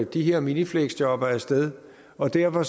de her minifleksjobbere af sted og derfor